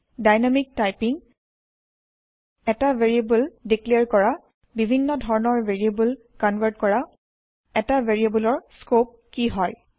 dynamic typing এটা variable declare কৰা বিভিন্ন ধৰণৰ ভেৰিয়েব্ল কনভাৰ্ত কৰা এটা ভেৰিয়েব্লৰ স্কৌপ কি হয়160